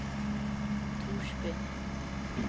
Torsby